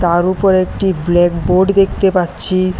তার উপরে একটি ব্ল্যাকবোর্ড দেখতে পাচ্ছি।